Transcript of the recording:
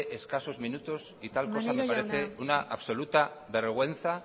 escasos minutos y tal cosa maneiro jauna me parece una absoluta vergüenza